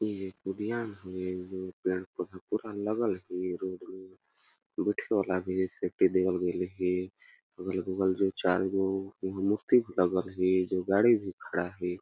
ई एक उद्यान हवे जो पेड़ -पौधा पूरा लगल हे रोड में बइठे वाला भी अगल- बगल चारों तरफ मूर्ति भी लागल हे जो गाड़ी भी खड़ा हे।